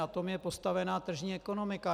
Na tom je postavená tržní ekonomika.